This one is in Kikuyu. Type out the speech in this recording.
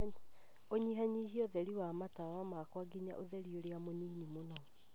ũnyihanyihie ũtheri wa matawa makwa ngina ũtheri ũrĩa mũnini mũno